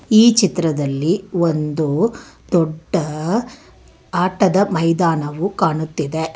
ಈ ಚಿತ್ರದಲ್ಲಿ ಒಂದು ದೊಡ್ಡ ಆಟದ ಮೈದಾನವು ಕಾಣುತ್ತಿದೆ.